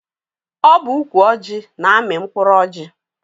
Ọ bụ ukwu ọjị na-amị mkpụrụ ọjị.